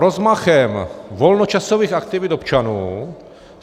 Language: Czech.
Rozmachem volnočasových aktivit občanů.